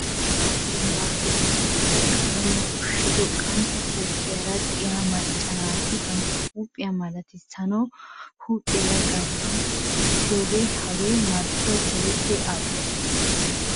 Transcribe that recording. Paraa cimbbaappe oosettida qalamiya ushshido qantta huuphiyaara diya macca naati bantta huuphiya malatissanawu huuphiyaara gattidi sikkiyogaa. Hagaa marccoy keehi al'o.